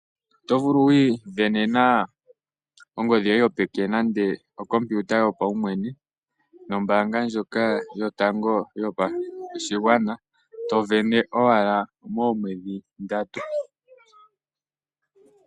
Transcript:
Oto vulu okuisindanena ongodhi yoye yopeke nenge okompiuta yopaumwene nombaanga ndjoka yotango yopashigwana to sindana owala moomwedhi ndatu.